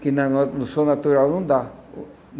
que na no no som natural não dá.